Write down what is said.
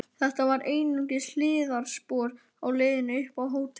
Þetta var einungis hliðarspor á leiðinni upp á hótel.